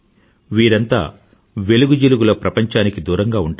వీరంతా వెలుగుజిలుగుల ప్రపంచానికి దూరంగా ఉంటారు